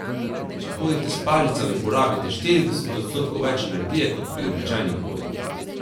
Če hodite s palicami, porabite štirideset odstotkov več energije kot pri običajni hoji.